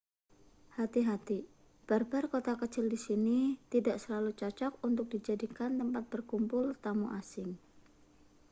hati-hati bar-bar kota kecil di sini tidak selalu cocok untuk dijadikan tempat berkumpul tetamu asing